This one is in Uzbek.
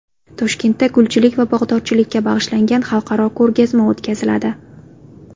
Toshkentda gulchilik va bog‘dorchilikka bag‘ishlagan xalqaro ko‘rgazma o‘tkaziladi.